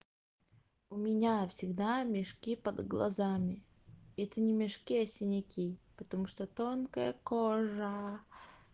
у меня всегда мешки под глазами это не мешки а синяки потому что тонкая кожа